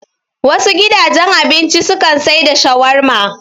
Wasu gidajen abinci su kan sai da shawarma